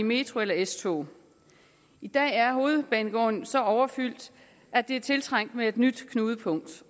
metro eller s tog i dag er hovedbanegården så overfyldt at det er tiltrængt med et nyt knudepunkt